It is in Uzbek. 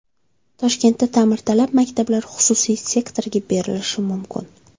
Toshkentda ta’mirtalab maktablar xususiy sektorga berilishi mumkin.